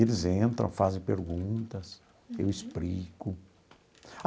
Eles entram, fazem perguntas, eu explico.